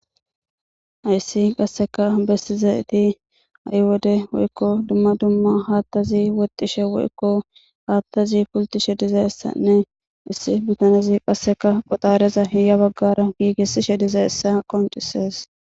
Hayssi qasseka bessizayti hai wodde woykko dumma dumma hattazi woxxishe woykko haattazi pulltishe dizayssane issi bitanezi qoxareza ha bagara gigisishe diizayssa qonccises.